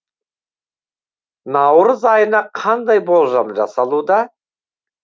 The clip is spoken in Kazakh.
наурыз айына қандай болжам жасалуда